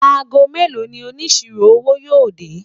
àgó mélò ní òní síró owó yo dé?